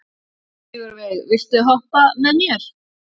Sigurveig, viltu hoppa með mér?